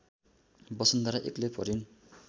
वसुन्धरा एक्लै परिन्